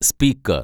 speaker‍